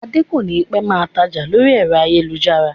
Adé kònípẹ́ máa tája lórí ayélujára